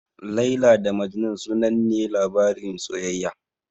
Laila da Majnun sanannen labarin soyayya ne.